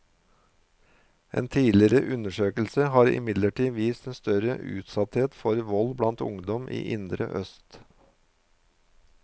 En tidligere undersøkelse har imidlertid vist en større utsatthet for vold blant ungdom i indre øst.